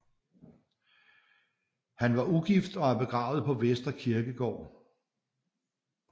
Han var ugift og er begravet på Vestre Kirkegård